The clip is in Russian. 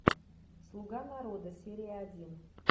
слуга народа серия один